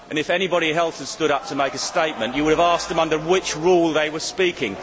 If anybody else had stood up to make a statement, you would have asked them under which Rule they were speaking.